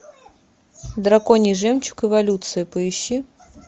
драконий жемчуг эволюция поищи